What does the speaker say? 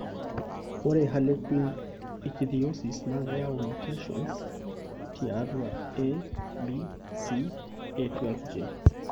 Ore harlequin ichthyosis naa keyau mutations tiatu ABCA12 gene.